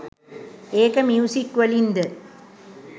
ඒක ‍මියුසික්වලින් ද